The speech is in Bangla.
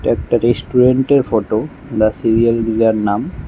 একটা রেস্টুরেন্টের ফটো দ্য সিরিয়াল গ্রিলার নাম।